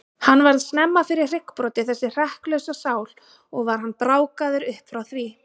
Hann varð snemma fyrir hryggbroti, þessi hrekklausa sál, og var hann brákaður upp frá því.